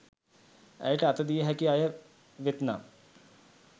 ඇයට අත දිය හැකි අය වෙත් නම්